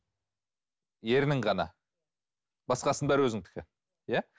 ернің ғана басқасының бәрі өзіңдікі иә